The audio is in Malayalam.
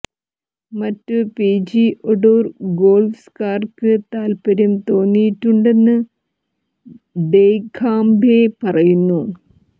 മറ്റു പി ജി ഒ ടൂർ ഗോൾഫ്ക്കാർക്ക് താത്പര്യം തോന്നിയിട്ടുണ്ടെന്ന് ഡെഖാംബെ പറയുന്നു